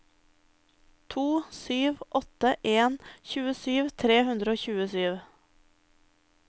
to sju åtte en tjuesju tre hundre og tjuesju